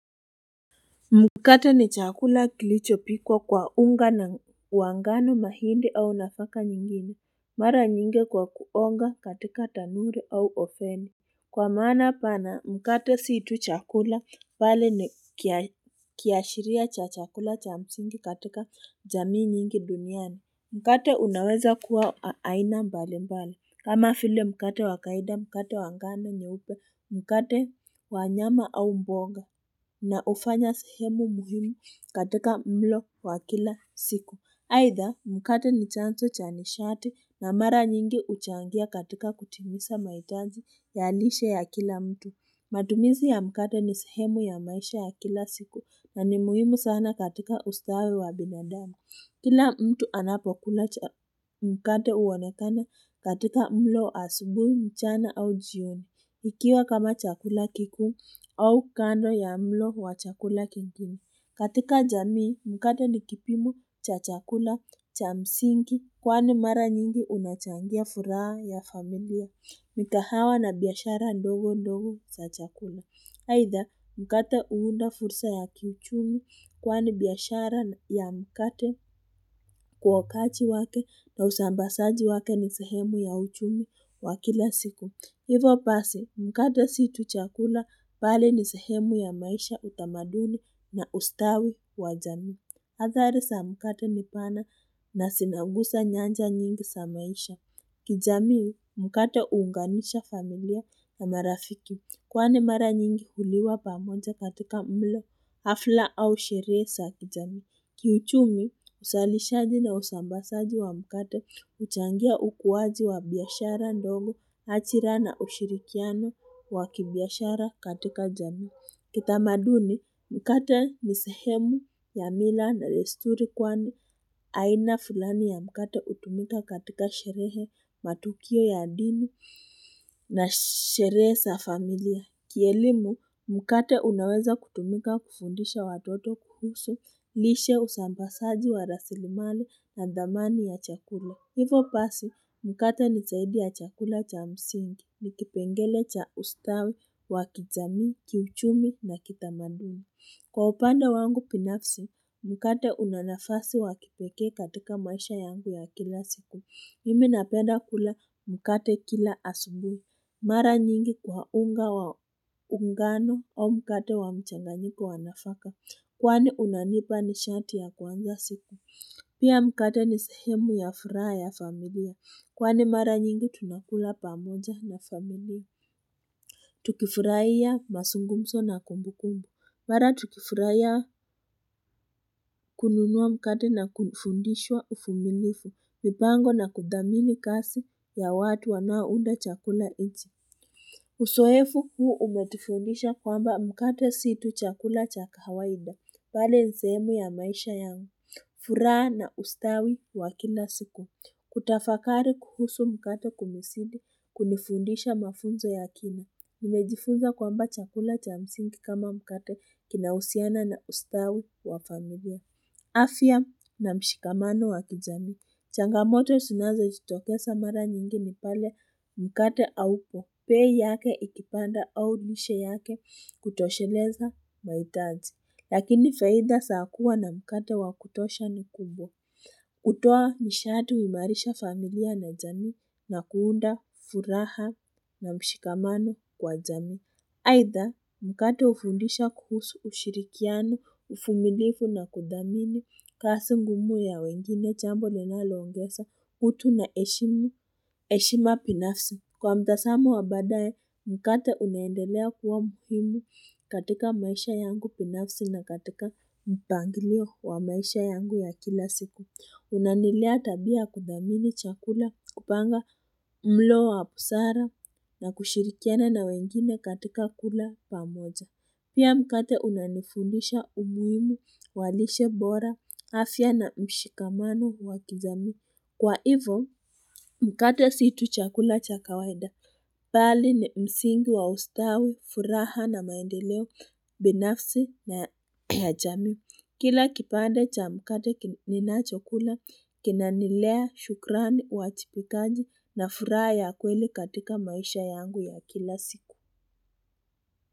Mkate ni chakula kilicho pikwa kwa unga na wangano mahindi au nafaka nyingine, mara nyingi kwa kuonga katika tanuri au ofeni. Kwa mana pana mkate si tu chakula pale ni kiashiria cha chakula cha msingi katika jamii nyingi duniani. Mkate unaweza kuwa aina mbali mbali. Kama file mkate wakaida mkate wangano nyeupe mkate wanyama au mboga na ufanya sehemu muhimu katika mlo wa kila siku. Aitha mkate ni chanzo cha nishati na mara nyingi uchangia katika kutimisa maitaji ya lishe ya kila mtu. Matumizi ya mkate ni sehemu ya maisha ya kila siku na ni muhimu sana katika ustawi wa binadamu. Kila mtu anapokula mkate uonekana katika mlo asubui mchana au jioni, ikiwa kama chakula kikuu au kando ya mlo wa chakula kingine. Katika jamii, mkate nikipimo cha chakula cha msingi kwani mara nyingi unachangia furaha ya familia, mikahawa na biashara ndogo ndogo za chakula. Aitha, mkata huunda fursa ya kiuchumi kwani biashara ya mkate kuwa kaji wake na usambasaji wake ni sehemu ya uchumi wakila siku. Hivo pasi mkate situ chakula bali ni sehemu ya maisha utamaduni na ustawi wa jamii. Hathari sa mkata nipana na sinagusa nyanja nyingi sa maisha. Kijami mkate uunganisha familia na marafiki kwani mara nyingi huliwa pamoja katika mlo hafla au sheree za kijami. Kiyuchumi usalishaji na usambasaji wa mkate uchangia ukuwaji wa biashara ndogo achira na ushirikiano wa kibiashara katika jami. Kitamaduni, mkate nisehemu ya mila na desturi kwani, aina fulani ya mkate utumika katika sherehe matukio ya dini na sherehe sa familia. Kielimu, mkate unaweza kutumika kufundisha watoto kuhusu, lishe usambasaji wa rasilimali na dhamani ya chakula. Hivo pasi, mkate ni zaidi ya chakula cha msingi, ni kipengele cha ustawi, wakijami, kiuchumi na kitamaduni. Kwa upanda wangu binafsi, mkate unanafasi wakipeke katika maisha yangu ya kila siku. Mimi napeda kula mkate kila asumbui Mara nyingi kwa unga wa ungano au mkate wa mchanganyiko wanafaka. Kwani unanipa ni shati ya kuanza siku. Pia mkata ni sehemu ya furaa ya familia. Kwani mara nyingi tunakula pamoja na familia. Tukifuraiya masungumso na kumbu kumbu. Mara tukifuraiya kununua mkate na kufundishwa ufumilifu. Mipango na kudhamini kasi ya watu wanaounda chakula ichi. Usoefu huu umetufundisha kwamba mkate situ chakula chakawaida. Pale ni sehemu ya maisha yangu. Fura na ustawi wakila siku. Kutafakari kuhusu mkate kumesidi, kunifundisha mafunzo ya kina. Nimejifunza kwamba chakula cha msingi kama mkate kinausiana na ustawi wa familia. Afia na mshikamano wa kijami. Changamoto sunazo jitokesa mara nyingi ni pale mkate au peei yake ikipanda au nishe yake kutosheleza maitaji. Lakini faida saakuwa na mkate wakutosha ni kubwa. Hutoa mishati wimarisha familia na jamii na kuunda furaha na mshikamano kwa jamii. Aitha mkate ufundisha kuhusu ushirikiano, ufuminifu na kudhamini kasi ngumu ya wengine chambo nena loongesa utu na eshima binafsi. Kwa mtazamo wabadae, mkate uneendelea kuwa muhimu katika maisha yangu binafsi na katika mpanglio wa maisha yangu ya kila siku. Unanilea tabia kudhamini chakula kupanga mlo wa busara na kushirikiana na wengine katika kula pamoja. Pia mkate unanifundisha umuhimu walishe bora afia na mshikamano wa kijamii. Kwa hivyo, mkate situ chakula cha kawaida. Bali ni msingi wa ustawi, furaha na maendeleo, binafsi na ya jamii. Kila kipande cha mkata kinina chakula, kinanilea, shukrani, wajibikaji na furaha ya kweli katika maisha yangu ya kila siku.